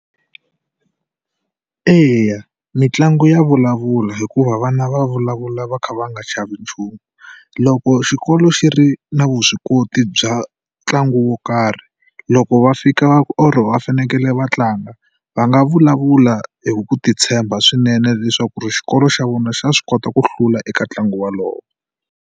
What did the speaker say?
Eya mitlangu ya vulavula hikuva vana va vulavula va kha va nga chavi nchumu. Loko xikolo xi ri na vuswikoti bya ntlangu wo karhi loko va fika or va fanekele va tlanga va nga vulavula hi ku titshemba swinene leswaku xikolo xa vona xa swi kota ku hlula eka ntlangu walowo.